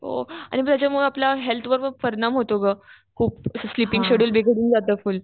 त्याच्यामुळे आपल्या हेल्थवर परिणाम होतो ग खूप स्लिपिंग शेड्युल बिघडून जातं फुल्ल.